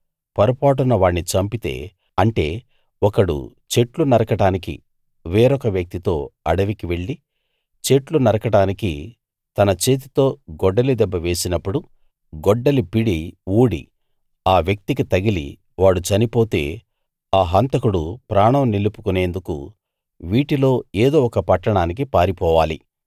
పొరపాటున వాణ్ణి చంపితే అంటే ఒకడు చెట్లు నరకడానికి వేరొక వ్యక్తితో అడవికి వెళ్ళి చెట్లు నరకడానికి తన చేతితో గొడ్డలి దెబ్బ వేసినప్పుడు గొడ్డలి పిడి ఊడి ఆ వ్యక్తికి తగిలి వాడు చనిపోతే ఆ హంతకుడు ప్రాణం నిలుపుకునేందుకు వీటిలో ఎదో ఒక పట్టణానికి పారిపోవాలి